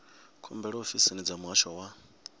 khumbelo ofisini dza muhasho wa